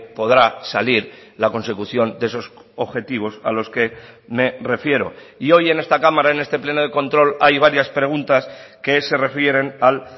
podrá salir la consecución de esos objetivos a los que me refiero y hoy en esta cámara en este pleno de control hay varias preguntas que se refieren al